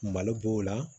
Malo b'o la